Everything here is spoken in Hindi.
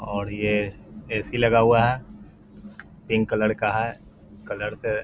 और ये ए.सी. लगा हुआ है। पिंक कलर का है। कलर से --